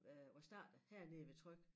Øh var startet hernede ved Tryg